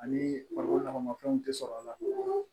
Ani lakanafɛnw tɛ sɔrɔ a la